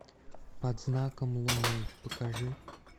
под знаком луны покажи